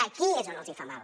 aquí és on els hi fa mal